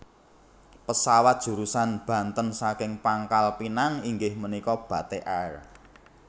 Pesawat jurusan Banten saking Pangkal Pinang inggih menika Batik Air